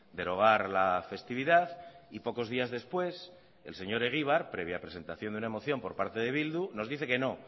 derogar la festividad y pocos días después el señor egibar previa presentación de una moción por parte de bildu nos dice que no